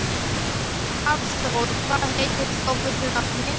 Hafþór, hvað heitir þú fullu nafni?